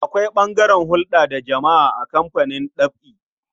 Akwai ɓangaren hulɗa da jama'a a kamfanin ɗab'i.